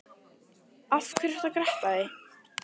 Af hverju ertu að gretta þig?